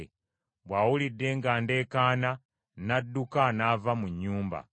bw’awulidde nga ndeekaana n’adduka n’ava mu nnyumba.”